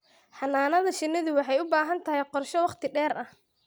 Xannaanada shinnidu waxay u baahan tahay qorshe wakhti dheer ah.